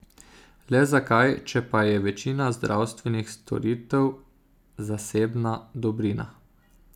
Le zakaj, če pa je večina zdravstvenih storitev zasebna dobrina?